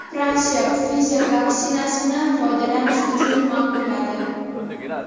Fransiya Pfizer vaksinasini foydalanish uchun ma’qulladi.